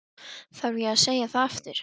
Þarf ég að segja það aftur?